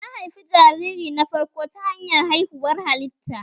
Na haifi jariri na farko ta hanyar haihuwar hallitta